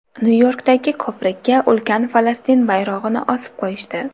Nyu-Yorkdagi ko‘prikka ulkan Falastin bayrog‘ini osib qo‘yishdi.